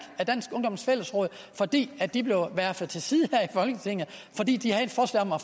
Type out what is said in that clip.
af dansk ungdoms fællesråd fordi de blev verfet til side her i folketinget fordi de havde et forslag om at